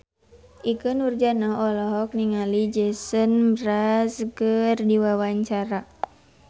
Ikke Nurjanah olohok ningali Jason Mraz keur diwawancara